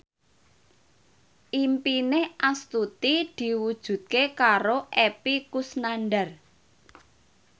impine Astuti diwujudke karo Epy Kusnandar